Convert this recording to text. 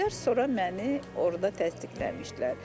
Sonra məni orda təsdiqləmişdilər.